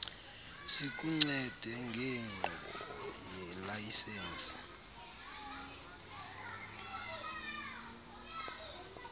sikuncede ngenkqubo yelayisensi